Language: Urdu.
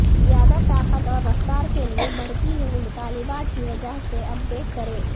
زیادہ طاقت اور رفتار کے لئے بڑھتی ہوئی مطالبات کی وجہ سے اپ ڈیٹ کریں